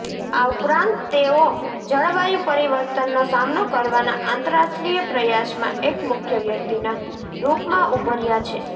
આ ઉપરાંત તેઓ જળવાયુ પરિવર્તનનો સામનો કરવાના આંતરરાષ્ટ્રીય પ્રયાસમાં એક મુખ્ય વ્યક્તિના રૂપમાં ઉભર્યા છે